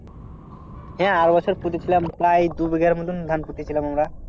হ্যাঁ আর বছর পুতেছিলাম প্রায় দুই ভিগার মতন ধান পুতেছিলাম আমরা।